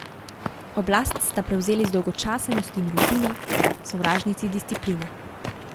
Oblast sta prevzeli zdolgočasenost in rutina, sovražnici discipline.